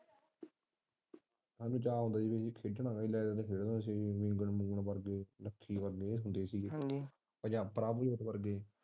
ਸਾਨੂੰ ਚਹ ਹੁੰਦਾ ਸੀ ਕਿ ਅਸੀਂ ਖੇਡਣਾ ਵਾ ਲੱਕੀ ਵਰਗੇ ਪ੍ਰਭਜੋਤ ਵਰਗੇ।